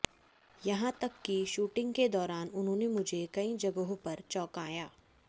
यहां तक कि शूटिंग के दौरान उन्होंने मुझे कई जगहों पर चौंकाया